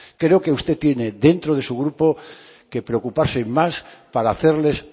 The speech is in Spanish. creo que usted tiene dentro de su grupo que preocuparse más para hacerles